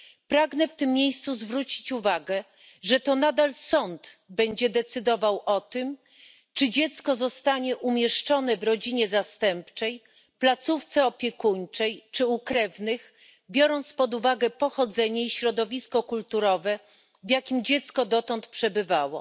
Pragnę w tym miejscu zaznaczyć, że to nadal sąd będzie decydował o tym, czy dziecko zostanie umieszczone w rodzinie zastępczej, placówce opiekuńczej czy u krewnych po wzięciu pod uwagę pochodzenia i środowiska kulturowego, w jakim dziecko dotąd przebywało.